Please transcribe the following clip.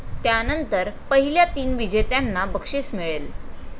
त्यानंतर पहिल्या तीन विजेत्यांना बक्षीस मिळेल.